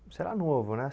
Você era novo, né?